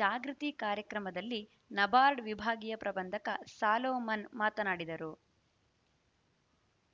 ಜಾಗೃತಿ ಕಾರ್ಯಕ್ರಮದಲ್ಲಿ ನಬಾರ್ಡ್‌ ವಿಭಾಗೀಯ ಪ್ರಬಂಧಕ ಸಾಲೊಮನ್‌ ಮಾತನಾಡಿದರು